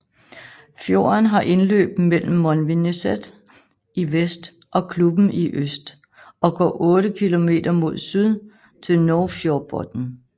Fjorden har indløb mellem Molvineset i vest og Klubben i øst og går otte kilometer mod syd til Nuvsfjordbotn